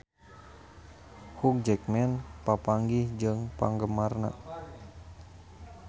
Hugh Jackman papanggih jeung penggemarna